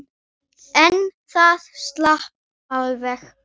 En það slapp alveg.